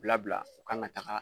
Bila bila u kan ka taga